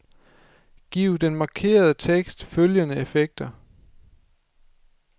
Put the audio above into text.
Giv den markerede tekst følgende effekter.